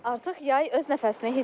Artıq yay öz nəfəsini hiss etdirir.